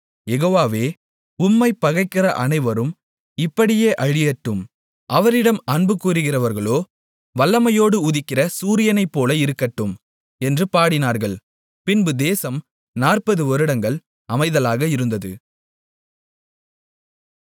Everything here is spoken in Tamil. யெகோவாவே உம்மைப் பகைக்கிற அனைவரும் இப்படியே அழியட்டும் அவரிடம் அன்புகூருகிறவர்களோ வல்லமையோடு உதிக்கிற சூரியனைப்போல இருக்கட்டும் என்று பாடினார்கள் பின்பு தேசம் 40 வருடங்கள் அமைதலாக இருந்தது